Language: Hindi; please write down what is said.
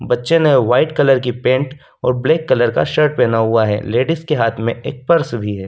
बच्चे ने वाइट कलर की पेंट और ब्लैक कलर का शर्ट पहना हुआ है लेडीज के हाथ में एक पर्स भी है।